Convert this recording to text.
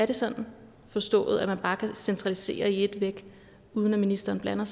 det skal forstås at man bare kan centralisere i et væk uden at ministeren blander